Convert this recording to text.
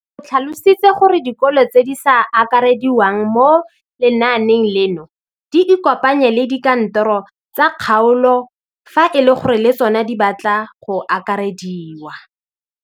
O tlhalositse gore dikolo tse di sa akarediwang mo lenaaneng leno di ikopanye le dikantoro tsa kgaolo fa e le gore le tsona di batla go akarediwa.